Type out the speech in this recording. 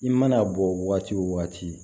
I mana bɔ waati o waati